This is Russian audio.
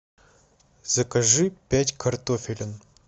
закажи пять картофелин